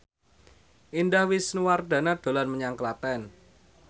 Indah Wisnuwardana dolan menyang Klaten